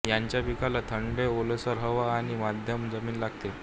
याच्या पिकाला थंड ओलसर हवा आणि मध्यम जमीन लागते